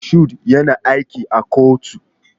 Mashood yana aiki a kotu.